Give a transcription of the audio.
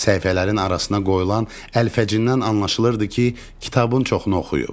Səhifələrin arasına qoyulan əlfəcindən anlaşılırdı ki, kitabın çoxunu oxuyub.